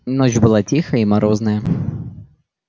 ночь была тихая и морозная